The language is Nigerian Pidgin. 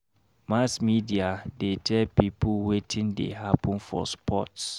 Mass media dey tell pipo wetin dey happen for sports.